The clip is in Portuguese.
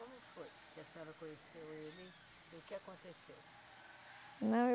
Como foi que a senhora conheceu ele e o que aconteceu? Não, eu